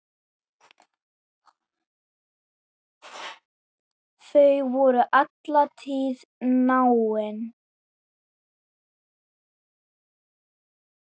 Þau voru alla tíð náin.